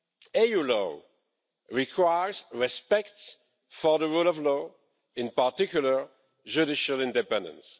EU law requires respect for the rule of law, in particular judicial independence.